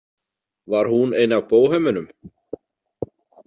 Var hún ein af bóhemunum?